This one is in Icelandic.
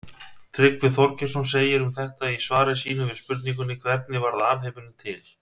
Tryggvi Þorgeirsson segir um þetta í svari sínu við spurningunni Hvernig varð alheimurinn til?